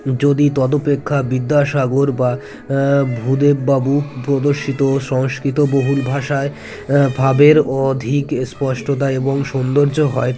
যদি তদোপেক্ষা বিদ্যাসাগর বা ভুদেব বাবু প্রদর্শিত সংস্কৃত বহুল ভাষায় ভাবের অধিক স্পষ্টতায় এবং সৌন্দর্য হয়